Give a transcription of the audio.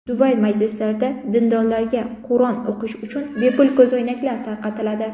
Dubay masjidlarida dindorlarga Qur’on o‘qish uchun bepul ko‘zoynaklar tarqatiladi.